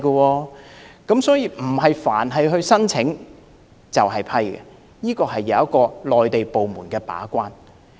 換言之，並非所有申請皆會獲批，內地部門會把關。